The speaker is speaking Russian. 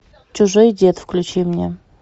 чужой дед включи мне